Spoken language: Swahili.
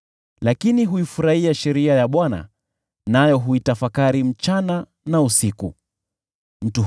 Bali huifurahia sheria ya Bwana , naye huitafakari hiyo sheria usiku na mchana.